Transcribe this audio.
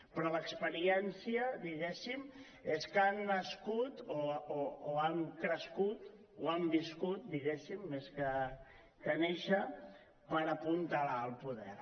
però l’experiència és que han nascut o han crescut o han viscut més que néixer per apuntalar el poder